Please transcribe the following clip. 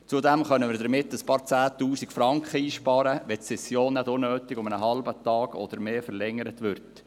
Zudem können wir mehrere Zehntausend Franken einsparen, wenn die Session nicht unnötig um einen halben Tag oder mehr verlängert wird.